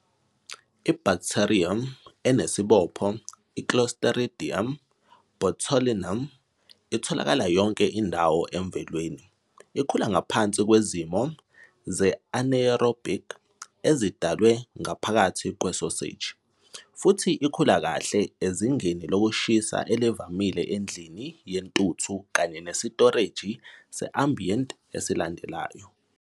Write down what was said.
I-bacterium enesibopho, i- "Clostridium botulinum", itholakala yonke indawo emvelweni, ikhula ngaphansi kwezimo ze -anaerobic ezidalwe ngaphakathi kwesoseji, futhi ikhula kahle izinga lokushisa elivamile endlini yentuthu kanye nesitoreji se-ambient esilandelayo.